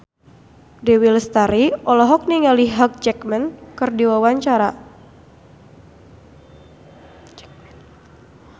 Dewi Lestari olohok ningali Hugh Jackman keur diwawancara